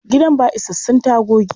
Gidan ba isassun tagogi.